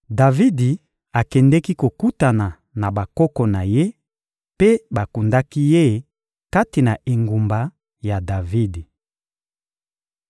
Davidi akendeki kokutana na bakoko na ye, mpe bakundaki ye kati na engumba ya Davidi.